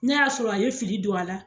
Ne y'a sɔrɔ a ye fili don a la